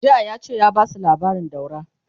jiya yace ya Basu labarin daura!